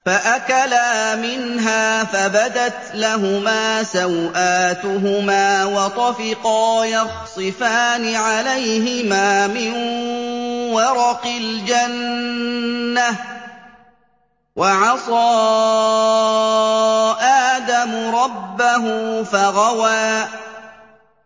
فَأَكَلَا مِنْهَا فَبَدَتْ لَهُمَا سَوْآتُهُمَا وَطَفِقَا يَخْصِفَانِ عَلَيْهِمَا مِن وَرَقِ الْجَنَّةِ ۚ وَعَصَىٰ آدَمُ رَبَّهُ فَغَوَىٰ